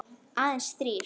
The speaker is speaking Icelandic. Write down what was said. Aðeins þrír.